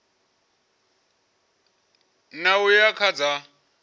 ṋ a uya kha dza